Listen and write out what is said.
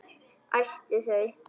Æsti þau.